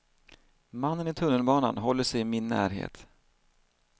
Mannen i tunnelbanan håller sig i min närhet.